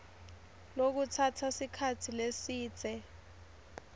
lokutsatsa sikhatsi lesidze